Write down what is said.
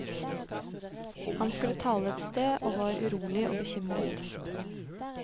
Han skulle tale et sted og var urolig og bekymret.